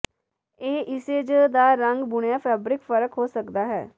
ਇਹ ਇਸੇ ਜ ਦਾ ਰੰਗ ਬੁਣਿਆ ਫੈਬਰਿਕ ਫ਼ਰਕ ਹੋ ਸਕਦਾ ਹੈ